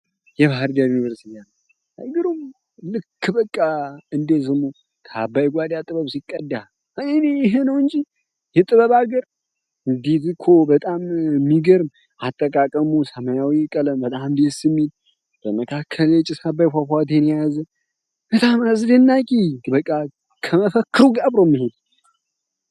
የባህር ዳር ዩኒቨርሲቲ እንደድሮ ከአባይ ጓዳ ጥበብ ሲቀዳ ይህ ነው እንጂ የጥበብ ሀገር የቀለም አጠቃቀሙ ሰማያዊ ምናምን ደስ የሚል በመካከል ፏፏቴን የያዘ በጣም አስደናቂ በቃ ከመፈክሩ ጋር አብሮ የሚሄድ የባህር ዳር ዩኒቨርሲቲ አርማ አይግሩም!!